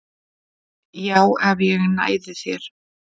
Já, ef ég næði þér